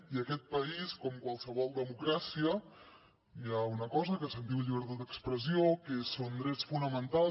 i en aquest país com en qualsevol democràcia hi ha una cosa que se’n diu llibertat d’expressió que són drets fonamentals